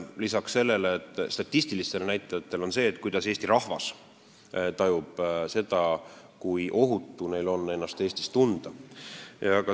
Lisaks nendele statistilistele näitajatele on kindlasti oluline see, kui ohutult Eesti rahvas ennast Eestis tunneb.